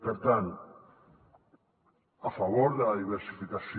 per tant a favor de la diversificació